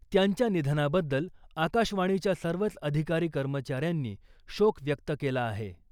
त्यांच्या निधनाबद्दल आकाशवाणीच्या सर्वच अधिकारी कर्मचाऱ्यांनी शोक व्यक्त केला आहे .